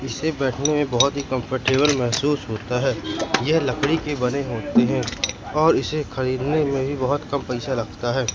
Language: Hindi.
इसे बैठने में बहोत ही कंफर्टेबल महसूस होता है यह लकड़ी के बने होते हैं और इसे खरीदने में भी बहुत पैसा लगता है।